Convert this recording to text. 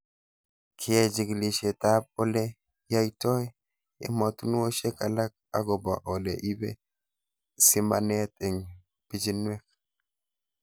Keyai chikilishet ab ole yaitoi ematinwoshek alak akopo ole ipe simanet eng' pichinwek